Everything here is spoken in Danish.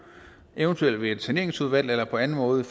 eventuelt ved et saneringsudvalg eller på anden måde